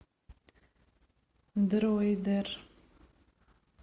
дройдер